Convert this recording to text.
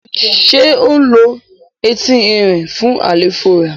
ṣe o ló Ẹti Ẹrin fún àléfọ rẹ?